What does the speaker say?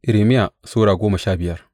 Irmiya Sura goma sha biyar